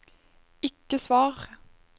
ikke svar